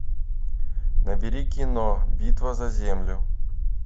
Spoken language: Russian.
набери кино битва за землю